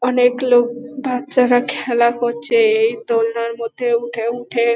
অনেক লোক বাচ্চারা খেলা করছে এই দোনলার মধ্যে উঠে উঠে ।